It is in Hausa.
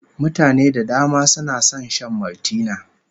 Mutane da dama suna son shan Maltina